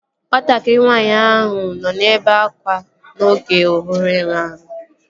Nwatakịrị nwaanyị ahụ nọ na-ebe akwa oge ọ hụrụ enwe ahụ